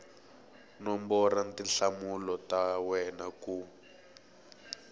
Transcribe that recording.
nombora tinhlamulo ta wena ku